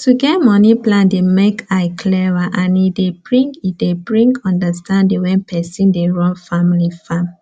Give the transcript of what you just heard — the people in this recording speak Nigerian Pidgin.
to get moni plan dey make eye clwar and e dey bring e dey bring understanding when person dey run family farm